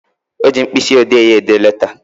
O ji mkpịsị odee ya ede leta